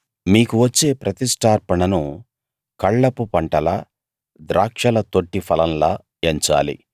మీకు వచ్చే ప్రతిష్ఠార్పణను కళ్లపు పంటలా ద్రాక్షల తొట్టి ఫలంలా ఎంచాలి